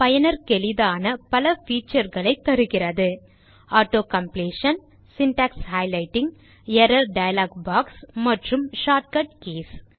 பயனர்க்கெளிதான பல feature களை தருகிறது auto completion syntax highlighting error dialog box மற்றும் ஷார்ட்கட் கீஸ்